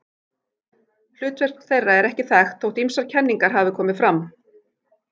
Hlutverk þeirra er ekki þekkt þótt ýmsar kenningar hafi komið fram.